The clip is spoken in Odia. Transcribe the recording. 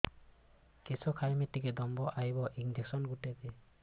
କିସ ଖାଇମି ଟିକେ ଦମ୍ଭ ଆଇବ ଇଞ୍ଜେକସନ ଗୁଟେ ଦେ